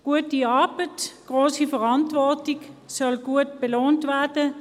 Gute Arbeit und grosse Verantwortung sollen gut belohnt werden.